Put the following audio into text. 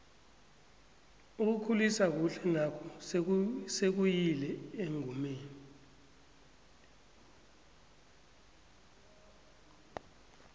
ukukhulisa kuhle naku sekayile engomeni